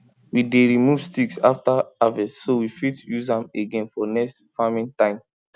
we dey remove sticks after harvest so we fit use am again for next farming time